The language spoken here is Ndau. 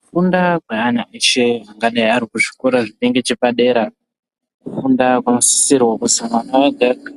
Kufunda kweana eshe angadai ari kuzvikora zviri ngechepadera. Kufunda kunosisirwa kuzi mwana ega-ega